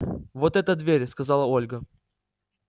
вот эта дверь сказала ольга